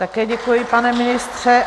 Také děkuji, pane ministře.